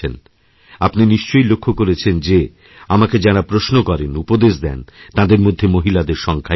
আপনি নিশ্চয় লক্ষ্য করেছেন যেআমাকে যাঁরা প্রশ্ন করেন উপদেশ দেন তাঁদের মধ্যে মহিলাদের সংখ্যাই বেশি